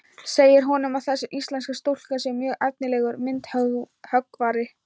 Segir honum að þessi íslenska stúlka sé mjög efnilegur myndhöggvari.